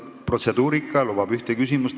Protseduur lubab ühte küsimust.